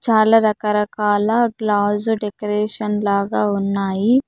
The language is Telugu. చాలా రకరకాల గ్లాస్ డెకరేషన్ లాగా ఉన్నాయి.